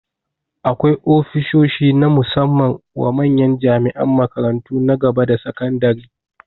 Akwai ofishoshi na musamman wa manyan jami'an makarantu na gaba da sakandare